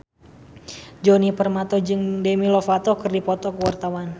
Djoni Permato jeung Demi Lovato keur dipoto ku wartawan